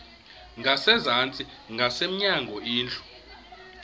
ngasezantsi ngasemnyango indlu